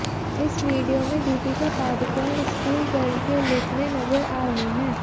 इस वीडियो में Deepika Padukone school girl के लुक में नजर आ रही हैं